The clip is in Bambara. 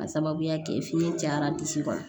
K'a sababuya kɛ fiɲɛ cayara disi ma